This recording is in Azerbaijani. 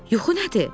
Yuxu nədir?